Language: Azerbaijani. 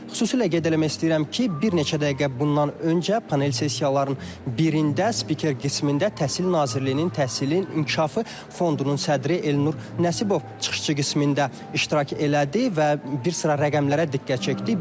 Xüsusilə qeyd eləmək istəyirəm ki, bir neçə dəqiqə bundan öncə panel sessiyaların birində spiker qismində Təhsil Nazirliyinin Təhsilin İnkişafı Fondunun sədri Elnur Nəsibov çıxışçı qismində iştirak elədi və bir sıra rəqəmlərə diqqət çəkdi.